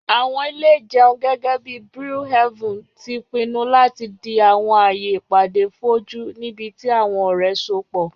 Àwọn ile-ìjẹun, gẹgẹbi Brew Haven, ti pinnu lati di àwọn aaye ipade foju, nibiti àwọn ọrẹ sopọ